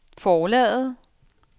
forlaget